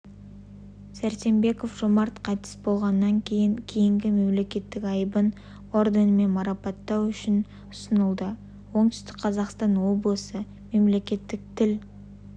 сәрсенбеков жомарт қайтыс болғаннан кейінгі мемлекеттік айбын орденімен марапаттау үшін ұсынылады оңтүстік қазақстан облысы мемлекеттік тіл